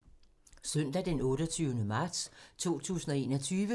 Søndag d. 28. marts 2021